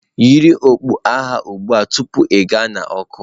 Yiri okpu agha ugbu a tupu ịga n'ọkụ.